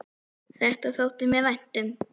Þetta þótti mér vænt um.